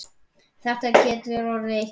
Getur þetta orðið eitthvað betra?